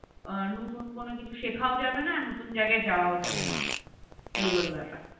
আ নতুন কোন কিছু শেখাও যাবে না আর নতুন জায়গায় যাওয়া যাবে না এই হলো ব্যাপার